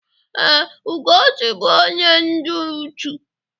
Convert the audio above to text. Ee, Ugochi bụ onye dị ụchụ̀.